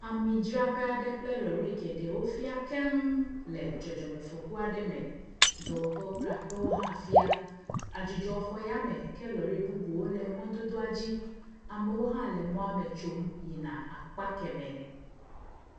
Amidzraƒe aɖe kple lɔɖi geɖe wofia keŋ le dzɔdzɔmefɔku aɖe me. Dɔwɔƒewo kple aƒewo hã fia. Adzɔdzɔ xɔ yame ke lɔɖi bubuwo le mɔdodoa dzi. Amewo hã le mɔme tsom yina akpa kemɛ.